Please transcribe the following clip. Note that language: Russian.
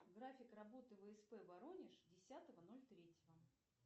график работы всп воронеж десятого ноль третьего